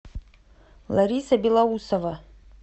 лариса белоусова